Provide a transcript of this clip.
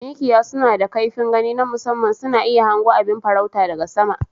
Mikiya suna da kaifin gani na musamman, suna iya hango abin farauta daga sama.